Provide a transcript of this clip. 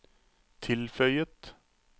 tilføyet